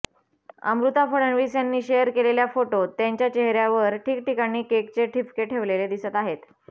अमृता फडणवीस यांनी शेअर केलेल्या फोटोत त्यांच्या चेहऱ्यावर ठिकठिकाणी केकचे ठिपके ठेवलेले दिसत आहेत